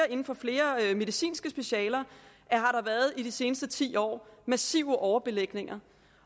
inden for flere medicinske specialer i de seneste ti år har massive overbelægninger